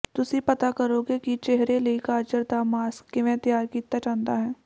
ਤੁਸੀਂ ਪਤਾ ਕਰੋਗੇ ਕਿ ਚਿਹਰੇ ਲਈ ਗਾਜਰ ਦਾ ਮਾਸਕ ਕਿਵੇਂ ਤਿਆਰ ਕੀਤਾ ਜਾਂਦਾ ਹੈ